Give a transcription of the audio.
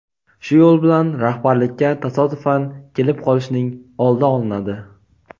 Shu yo‘l bilan rahbarlikka tasodifan kelib qolishning oldi olinadi.